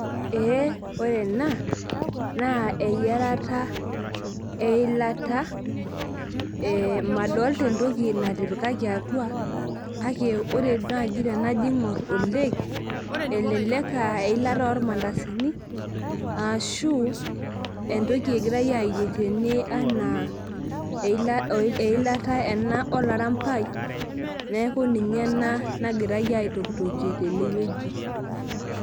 Ee ore ena na eyiarata eilata e madolta entoki natipikikakibatua kake tanajiungur oleng eilata irmandasini arashu entoki egirai eyier tene naa eilata eba olairambai neaku ninye ena nagirai aitokitokie tenewueji.